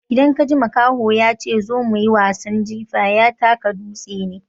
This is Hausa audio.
Idan kaji makaho ya ce zo muyi wasan jifa, ya taka dutse ne.